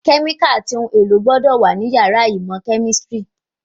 Kẹ́míkàlì àti ohun èlò gbọ́dọ̀ wà ní yàrá ìmọ̀ kẹ̀mísírì